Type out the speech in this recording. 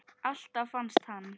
Alltaf fannst hann.